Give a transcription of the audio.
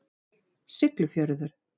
Siglufjörður